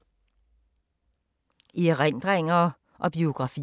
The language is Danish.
Erindringer og biografier